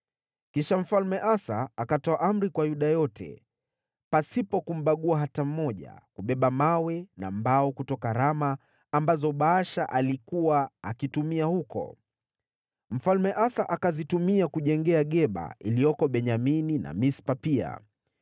Kisha Mfalme Asa akatoa amri kwa Yuda yote, pasipo kumbagua hata mmoja, kubeba mawe na mbao kutoka Rama, ambazo Baasha alikuwa akitumia huko. Mfalme Asa akazitumia kujengea Geba iliyoko Benyamini na Mispa pia.